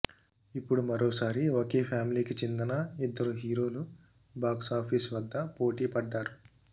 ఇప్పుడు మరోసారి ఒకే ఫ్యామిలీకి చెందిన ఇద్దరు హీరోలు బాక్స్ ఆఫీస్ వద్ద పోటీ పడ్డారు